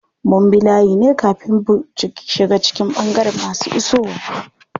Mun bi layi ne kafin bu shiga cikin ɓangaren masu isowa.